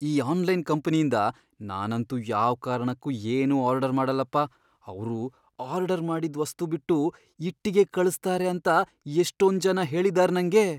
ಈ ಆನ್ಲೈನ್ ಕಂಪನಿಂದ ನಾನಂತೂ ಯಾವ್ ಕಾರ್ಣಕ್ಕೂ ಏನೂ ಆರ್ಡರ್ ಮಾಡಲ್ಲಪ, ಅವ್ರು ಆರ್ಡರ್ ಮಾಡಿದ್ ವಸ್ತು ಬಿಟ್ಟು ಇಟ್ಟಿಗೆ ಕಳ್ಸ್ತಾರೆ ಅಂತ ಎಷ್ಟೊಂಜನ ಹೇಳಿದಾರ್ ನಂಗೆ.